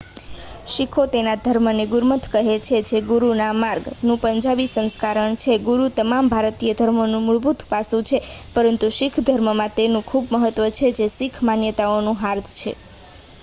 "શીખો તેમના ધર્મને ગુરમત કહે છે જે "ગુરુના માર્ગ""નું પંજાબી સંસ્કરણ છે. ગુરુ તમામ ભારતીય ધર્મોનું મૂળભૂત પાસું છે પરંતુ શીખ ધર્મમાં તેનું ખૂબ મહત્વ છે જે શીખ માન્યતાઓનું હાર્દ છે.